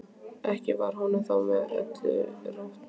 Ekki var honum þó með öllu rótt.